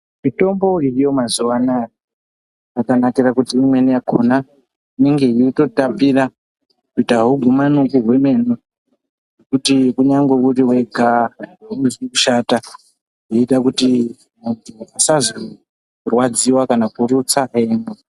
Mitombo iriyo mazuva anaa yakanakira kuti imweni yakhona inenge yeitotapira kuti agumani nekuhwe meno kuti kunyangwe uri wega auzwi kushata zvinoita kuti usazorwadziwa kana kurutsa weimwa.